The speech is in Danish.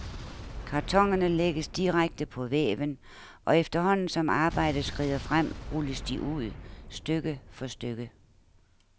Kartonerne lægges direkte på væven, og efterhånden som arbejdet skrider frem, rulles de ud, stykke for stykke.